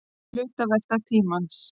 Hlutavelta tímans.